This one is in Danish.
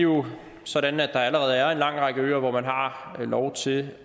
jo sådan at der allerede er en lang række øer hvor man har lov til